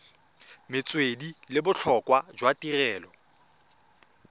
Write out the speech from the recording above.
metswedi le botlhokwa jwa tirelo